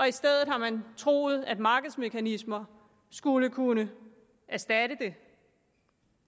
i stedet har man troet at markedsmekanismer skulle kunne erstatte det